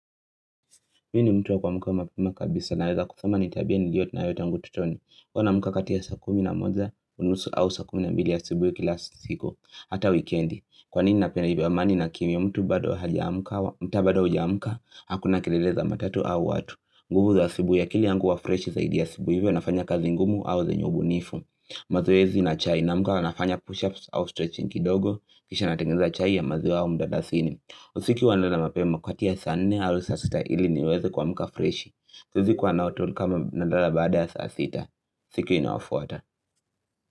Mi ni mtu wa kua mka wa mapema kabisa na weza kusema nitabia ni liyo na yota angu ututoni. Huwa naamuka kati ya sa kumi na moja, unusu au sa kumi na mbili ya asubuhi kila siku, hata wikendi. Kwa nini napenda hivyo amani na kimya mtu bado haja amka, mta bado hauja mka, hakuna keleleza matatu au watu. Nguvu za asubuhi a kili yangu huwa fresh zaidi asubuhi hivyo nafanya kazi ngumu au zenye ubu nifu. Mazoezi na chai naa mka nafanya push-ups au stretching kidogo, kisha natengeneza chai ya maziwa au mdala sini. Usiku huwanalala mapema kati ya saa nne alu saa sita ili niweze kua mka freshi siwezi kuazikuwa naotu kama nadala baada ya saa sita Siki inayofuata.